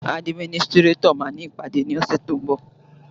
Àdímínìsitirẹtọ mà ni ìpàdé lose to ḿbọ